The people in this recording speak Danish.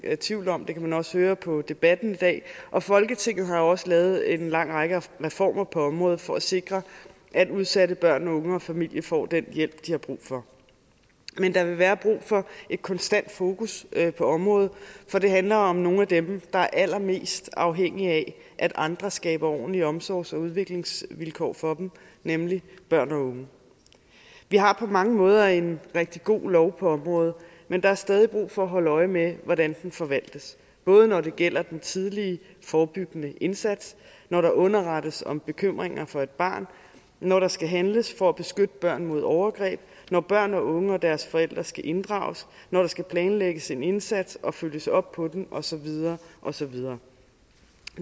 tvivl om det kan man også høre på debatten i dag og folketinget har jo også lavet en lang række reformer på området for at sikre at udsatte børn unge og familier får den hjælp de har brug for men der vil være brug for et konstant fokus på området for det handler om nogle af dem der er allermest afhængige af at andre skaber ordentlige omsorgs og udviklingsvilkår for dem nemlig børn og unge vi har på mange måder en rigtig god lov på området men der er stadig brug for at holde øje med hvordan den forvaltes både når det gælder den tidlige forebyggende indsats når der underrettes om bekymringer for et barn når der skal handles for at beskytte børn mod overgreb når børn og unge og deres forældre skal inddrages når der skal planlægges en indsats og følges op på den og så videre og så videre